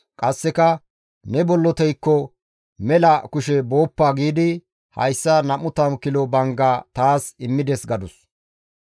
Qasseka, « ‹Ne bolloteyko mela kushe booppa› giidi hayssa 20 kilo bangga taas immides» gadus.